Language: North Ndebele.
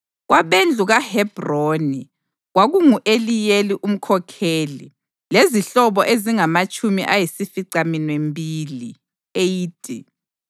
kwabendlu kaHebhroni, kwakungu-Eliyeli umkhokheli lezihlobo ezingamatshumi ayisificaminwembili (80);